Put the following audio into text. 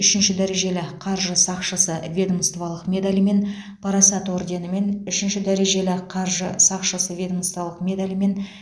үшінші дәрежелі қаржы сақшысы ведомстволық медалімен парасат орденімен үшінші дәрежелі қаржы сақшысы ведомстволық медалімен